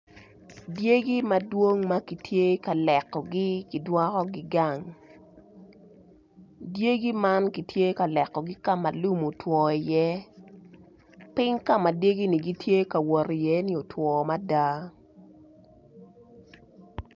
Dyegi madwong ma kitye ka lekogi kidwokogi gang dyegi man kitye ka lekogi ka ma lum otwo iye piny ka ma dyegini gitye ka wot iye otwo mada.